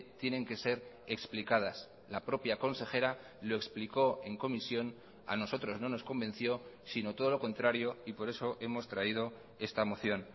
tienen que ser explicadas la propia consejera lo explicó en comisión a nosotros no nos convenció sino todo lo contrario y por eso hemos traído esta moción